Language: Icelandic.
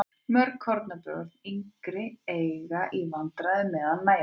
Mörg kornabörn og yngri börn eiga í vandræðum með að nærast.